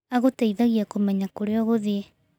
Agũteithagia kũmenya kũrĩa ũgũthiĩ